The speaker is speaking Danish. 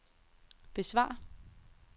besvar